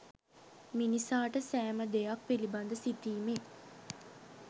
මිනිසාට සෑම දෙයක් පිළිබඳ සිතීමේ